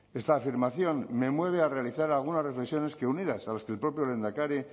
esta afirmación me mueve a realizar algunas reflexiones que unidas a las que el propio lehendakari